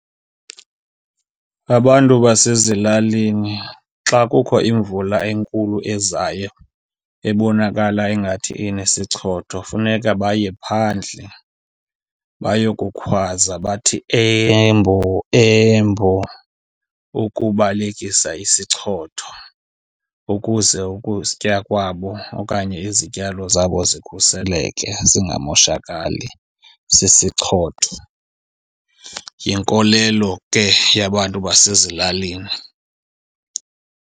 Abantu basezilalini xa kukho imvula enkulu ezayo ebonakala ingathi inesichotho, funeka baye phandle bayokukhwaza bathi, eMbo, eMbo, ukubalekisa isichotho ukuze ukutya kwabo okanye izityalo zabo zikhuseleke, zingamoshakali sisichotho. Yinkolelo ke yabantu basezilalini.